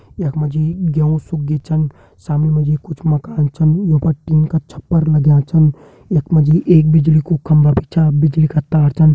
यख मा जी गेहूं सुख छन सामने मा जी कुछ मकान छन वे पर टीन का छप्पर लग्यां छन यख मा जी एक बिजली कू खंभा भी छ बिजली का तार छन।